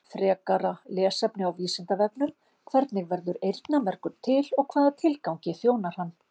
Frekara lesefni á Vísindavefnum: Hvernig verður eyrnamergur til og hvaða tilgangi þjónar hann?